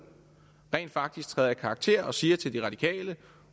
rent faktisk træder i karakter og siger til de radikale